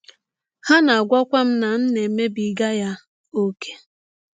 Ha na - agwakwa m na m na - emebiga ya ọ́kè.